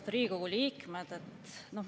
Austatud Riigikogu liikmed!